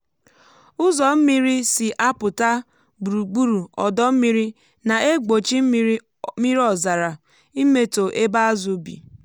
ụzọ mmiri si apụta gburugburu ọdọ mmiri na-egbochi mmiri ọzara imetọ ebe azụ bi.